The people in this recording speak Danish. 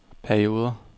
perioder